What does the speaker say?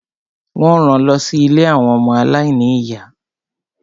Wọ́n ran lọ sí ilé àwọn ọmọ aláìní ìyá.